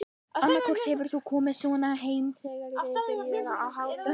Annaðhvort hefur hann komið svona heim eða verið byrjaður að hátta sig.